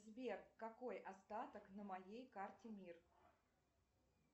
сбер какой остаток на моей карте мир